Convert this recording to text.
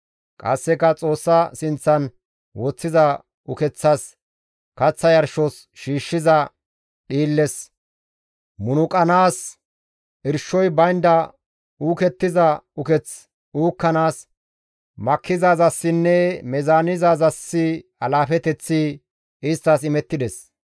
Qasseka Xoossa sinththan woththiza ukeththas, kaththa yarshos shiishshiza dhiilles, munuqanaas, irshoy baynda uukettiza uketh uukkanaas, makkizaazassinne meezaanizaazas alaafeteththi isttas imettides.